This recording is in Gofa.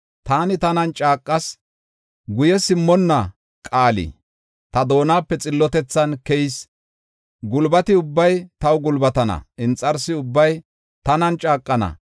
Taani tanan caaqas; guye simmonna qaali ta doonape xillotethan keyis. Gulbati ubbay taw gulbatana; inxarsi ubbay tanan caaqana.